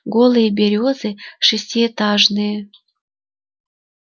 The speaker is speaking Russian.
голые берёзы шестиэтажные